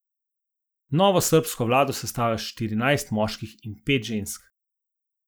Novo srbsko vlado sestavlja štirinajst moških in pet žensk.